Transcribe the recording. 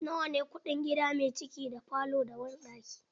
Nawa ne kuɗin gida mai ciki da falo da banɗaki?